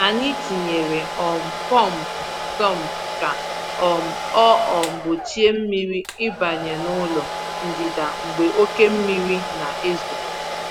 Anyị tinyere um pọmpụ sump ka um ọ um gbochie mmiri ịbanye n’ụlọ ndịda mgbe oké mmiri na-ezo.